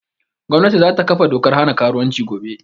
Gwamnati za ta kafa dokar hana karuwanci gobe